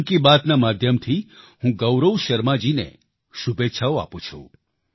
મન કી બાતના માધ્યમથી હું ગૌરવ શર્માજી ને શુભેચ્છાઓ આપું છું